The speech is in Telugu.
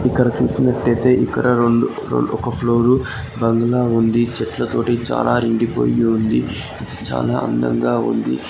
ఇక్కడ చూసినట్టయితే ఇక్కడ రెండు రె ఒక ఫ్లోర్ బంగ్లా ఉంది. చెట్లతోటి చాలా నిండిపోయి ఉంది. చాలా అందంగా ఉంది.